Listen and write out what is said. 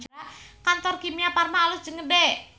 Kantor Kimia Farma alus jeung gede